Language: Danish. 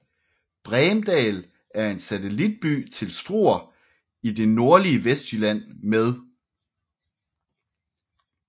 Bremdal er en satellitby til Struer i det nordlige Vestjylland med